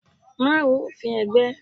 Má ru òfin ẹgbẹ́!